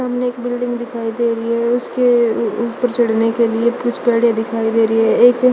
सामने एक बिल्डिंग दिखाई दे रही है उसके ऊपर चढ़ने के लिए दिखाई दे रही है एक--